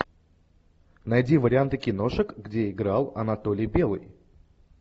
найди варианты киношек где играл анатолий белый